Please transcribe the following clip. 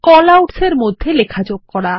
callouts এর মধ্যে লেখা যোগ করা